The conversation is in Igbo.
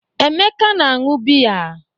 Emeka na-aṅụ biya.